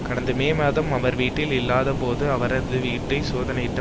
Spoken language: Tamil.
கடந்த மே மாதம் அவர் வீட்டில் இல்லாத போது அவரது வீட்டை சோதனையிட்ட